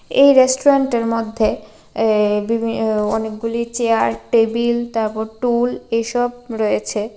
এই রেস্টুরেন্টের মধ্যে এ বিভি ও অনেকগুলি চেয়ার টেবিল তারপর টুল এসব রয়েছে।